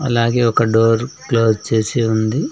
అలాగే ఒక door close చేసి ఉంది.